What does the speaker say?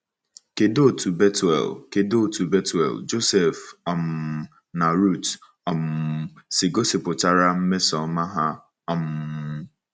Kedụ otú Bethuel, Kedụ otú Bethuel, Joseph, um na Ruth um si gosipụtara mmesoọma ha um?